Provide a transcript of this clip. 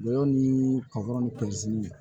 Lɔgɔ ni kɔkɔn ni